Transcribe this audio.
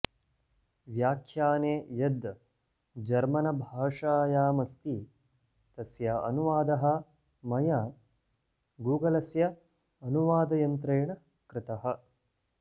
व्याख्याने यद् जर्मनभाषायामस्ति तस्य अनुवादः मया गुगलस्य अनुवादयन्त्रेण कृतः